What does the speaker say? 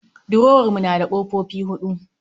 Durowar mu na da kofofi huɗu